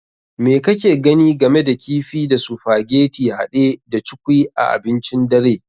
Me kake gani game da kifi da sufageti hade da cukwui a abincin dare?